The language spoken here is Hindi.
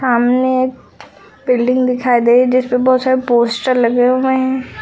सामने एक बिल्डिंग दिखाई दे रही जिस पे बहुत सारे पोस्टर लगे हुए हैं।